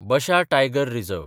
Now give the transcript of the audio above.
बशा tiger reserve